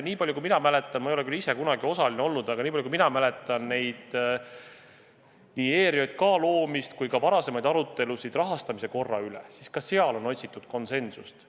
Ma ei ole küll ise kunagi osaline olnud, aga nii palju kui mina mäletan nii ERJK loomist kui ka varasemaid arutelusid rahastamise korra üle, siis ka seal on otsitud konsensust.